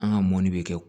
An ka mɔni bɛ kɛ